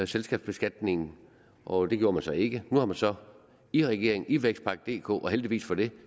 selskabsbeskatningen og det gjorde man så ikke nu har man så i regeringen i vækstpakke dk og heldigvis for det